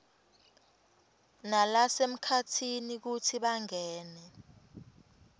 nalasemkhatsini kutsi bangene